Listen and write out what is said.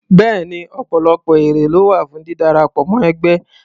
Bẹ́ẹ̀ni, ọ̀pọ̀lọpọ̀ èrè ló wà fún dídarapọ̀ mọ́ ẹgbẹ́.